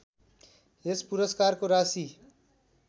यस पुरस्कारको राशि